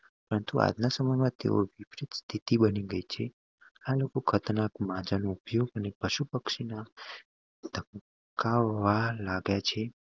તો આજના સમય માં તેઓ તિથિ બની ગયી છે આ લોકો ખતરનાક માજા ઉપયોગ અને પશુ પક્ષી ના લાગે છે